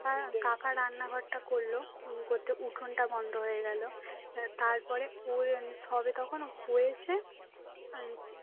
কাকা কাকার রান্নাঘরটা করলো উম করতে উঠোনটা বন্ধ হয়ে গেল এবার তারপরে সবে তখন হয়েছে আর